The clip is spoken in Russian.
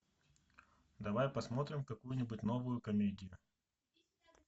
давай посмотрим какую нибудь новую комедию